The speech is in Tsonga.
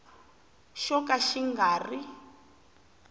xo ka xi nga ri